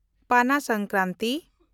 Pana Sankranti